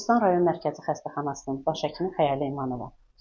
Qobustan rayon Mərkəzi Xəstəxanasının baş həkimi Xəyalə İmanova.